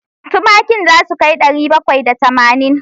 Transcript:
Tumakin za su kai ɗari bakwai da tamanin?